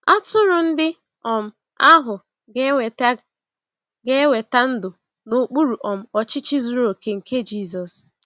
Atụrụ ndị um ahụ ga-enweta ga-enweta ndụ n’okpuru um ọchịchị zuru oke nke Jisọs.